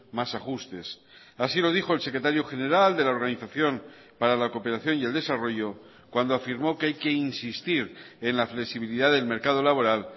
más ajustes así lo dijo el secretario general de la organización para la cooperación y el desarrollo cuando afirmó que hay que insistir en la flexibilidad del mercado laboral